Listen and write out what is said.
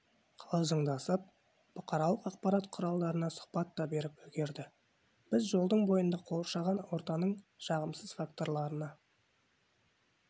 қалжыңдасып бұқаралық ақпарат құралдарына сұхбат беріп те үлгерді біз жолдың бойында қоршаған ортаның жағымсыз факторларына